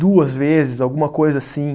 Duas vezes, alguma coisa assim.